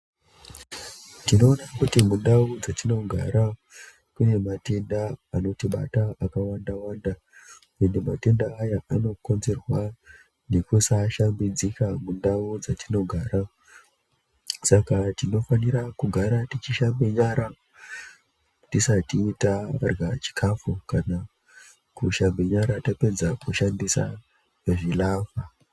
Tinoona kuti mundau dzetinogara mune matenda anotibata akawanda wanda, ende matenda aya anokonzerwa nekusashambidzika mundau dzatinogara. Saka tinofanira kugara tichishambe nyara tisati tarya chikafu kana kushambe nyara tapedza zvilava